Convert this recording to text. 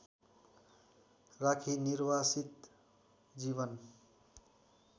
राखी निर्वासित जीवन